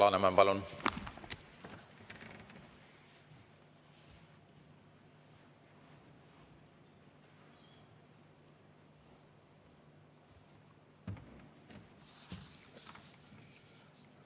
Alar Laneman, palun!